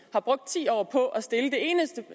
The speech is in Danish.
har brugt ti år på